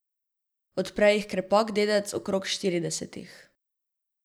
Odpre jih krepak dedec okrog štiridesetih.